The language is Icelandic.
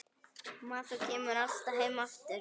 Maður kemur alltaf heim aftur